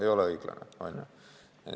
Ei ole õiglane, on ju.